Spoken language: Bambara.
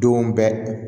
Don bɛɛ